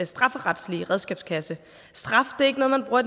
strafferetlige redskabskasse straf er ikke noget man bruger